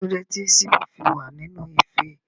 Kílódé tí síbí fi wa nínú ife?